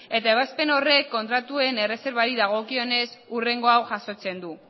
eta ebazpen horrek kontratu erreserbari dagokionez hurrengo hau jasotzen du